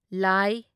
ꯂ